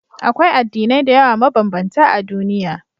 Akwai addinai da yawa mabambanta a duniya.